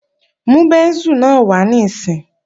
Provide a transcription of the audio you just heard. Mú bẹ́ńsù náà wá níìsín!